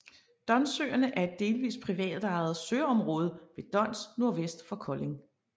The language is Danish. Donssøerne er et delvist privatejet søområde ved Dons nordvest for Kolding